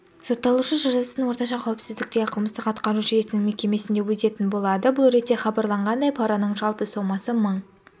сотталушы жазасын орташа қауіпсіздіктегі қылмыстық-атқару жүйесінің мекемесінде өтейтін болады бұл ретте хабарланғандай параның жалпы сомасы мың